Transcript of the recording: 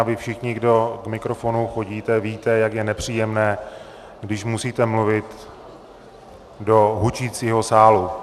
A vy všichni, kdo k mikrofonu chodíte, víte, jak je nepříjemné, když musíte mluvit do hučícího sálu.